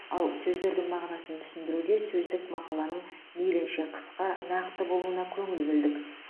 ал сөздердің мағынасын түсіндіруде сөздік мақаланың мейлінше қысқа нақты болуына көңіл бөлдік